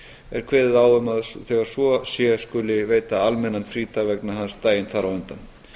er kveðið á um að þegar svo sé skuli veita almennan frídag vegna hans daginn þar á undan